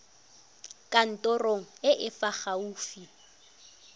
kantorong e e fa gaufi